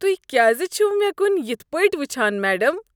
تہۍ کیٛازِ چھوٕ مےٚ کن یتھ پٲٹھۍ وٕچھان میڈم؟